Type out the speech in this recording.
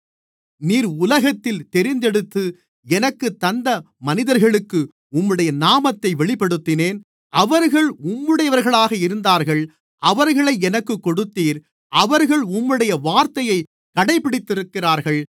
நீர் உலகத்தில் தெரிந்தெடுத்து எனக்குத் தந்த மனிதர்களுக்கு உம்முடைய நாமத்தை வெளிப்படுத்தினேன் அவர்கள் உம்முடையவர்களாக இருந்தார்கள் அவர்களை எனக்குக் கொடுத்தீர் அவர்கள் உம்முடைய வார்த்தையை கடைபிடித்திருக்கிறார்கள்